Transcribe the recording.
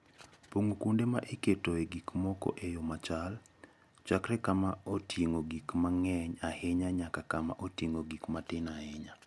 Pong'o kuonde ma iketoe gik moko e yo machal, chakre kama oting'o gik mang'eny ahinya nyaka kama oting'o gik matin ahinya.